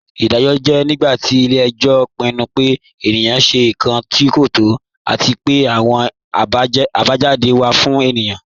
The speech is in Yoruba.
Iḍajọ jẹ̀ nígbàtí ilẹ̀-ẹ̀jọ pinnu pẹ̀ ènìkán ṣẹ̀ nkàn tí kò tọ̀, àti pẹ̀ àwọn àbájádé wa fún ènìyẹn.